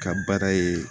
Ka baara ye